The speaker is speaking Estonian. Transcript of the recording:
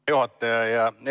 Hea juhataja!